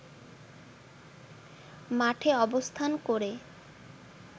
মাঠে অবস্থান করে